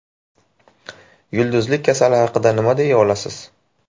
Yulduzlik kasali haqida nima deya olasiz?